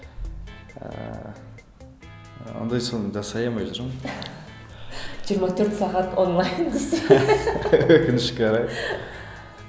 ыыы ондай соны жасай алмай жүрмін жиырма төрт сағат онлайн десей өкінішке орай